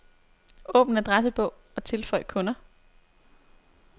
Åbn adressebog og tilføj kunder.